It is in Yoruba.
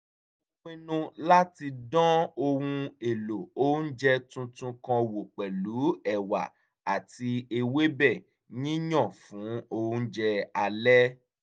mo pinnu láti dán ohun èlò oúnjẹ tuntun kan wò pẹ̀lú ẹ̀wà àti ewébẹ̀ yíyan fún oúnjẹ alẹ́